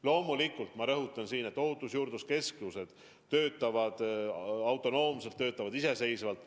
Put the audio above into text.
Loomulikult ma rõhutan siin, et ohutusjuurdluse keskused töötavad autonoomselt, töötavad iseseisvalt.